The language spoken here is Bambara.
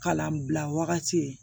Kalanbila wagati